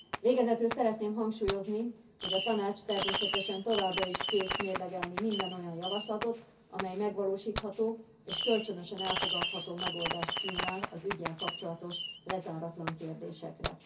Végezetül szeretném hangsúlyozni, hogy a Tanács természetesen továbbra is kész mérlegelni minden olyan javaslatot, amely megvalósítható és kölcsönösen elfogadható megoldást kínál az ügyel kapcsolatos lezáratlan kérdésekre.